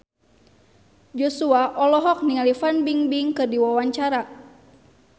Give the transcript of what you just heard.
Joshua olohok ningali Fan Bingbing keur diwawancara